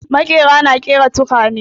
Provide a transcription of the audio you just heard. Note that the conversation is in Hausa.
Maƙeri na ƙera tukwane.